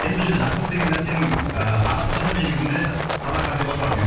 енді бұл жерде жақсылық деген нәрсенің ы арабшасы негізінде садақа деп аталады негізі